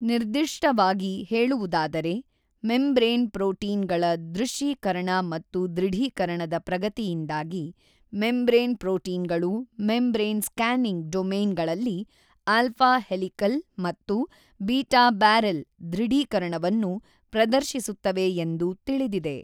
ನಿರ್ದಿಷ್ಟವಾಗಿ ಹೇಳುವುದಾದರೆ membrane protein ಗಳ ದ್ರುಶ್ಯೀಕರಣ ಮತ್ತು ದ್ರುಢೀಕರಣದ ಪ್ರಗತಿಯಿಂದಾಗಿ ಮೆಂಬ್ರೇನ್ ಪ್ರೊಟೀನ್ ಗಳು ಮೆಂಬ್ರೇನ್ ಸ್ಪ್ಯಾನಿಂಗ್ ಡೊಮೈನ್ ಗಳಲ್ಲಿ ಆಲ್ಫಾ ಹೆಲಿಕಲ್ ಮತ್ತು ಬೀಟಾ ಬ್ಯಾರೆಲ್ ದ್ರುಡೀಕರಣವನ್ನು ಪ್ರದರ್ಶಿಸುತ್ತವೆ ಎಂದು ತಿಳಿದಿದೆ.